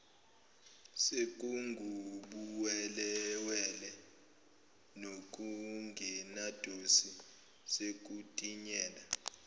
sekungubuwelewele nokungenadosi sekutinyela